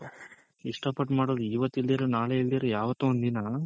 ಇಷ್ಟ ಪಟ್ ಮಾಡೋದು ಇವತ್ ಇಲ್ದಿರ ನಾಳೆ ಇಲ್ದಿರ ಯಾವತ್ತೋ ಒಂದ್ ದಿನ